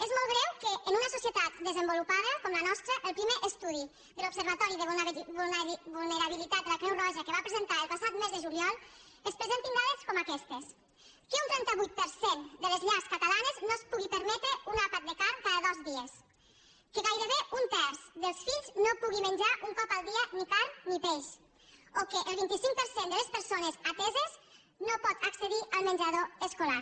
és molt greu que en una societat desenvolupada com la nostra el primer estudi de l’observatori de vulnerabilitat de la creu roja que va presentar el passat mes de juliol es presentin dades com aquestes que un trenta vuit per cent de les llars catalanes no es pugui permetre un àpat de carn cada dos dies que gairebé un terç dels fills no pugui menjar un cop al dia ni carn ni peix o que el vint cinc per cent de les persones ateses no pugui accedir al menjador escolar